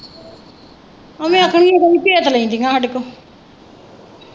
ਐਂਵੇ ਆਖਣ ਗੀਆਂ ਭੇਤ ਲੈਂਦੀਆਂ ਸਾਡੇ ਤੋਂ।